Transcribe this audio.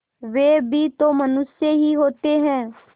वे भी तो मनुष्य ही होते हैं